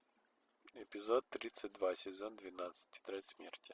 эпизод тридцать два сезон двенадцать тетрадь смерти